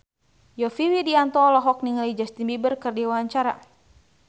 Yovie Widianto olohok ningali Justin Beiber keur diwawancara